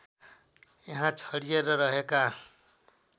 यहाँ छरिएर रहेका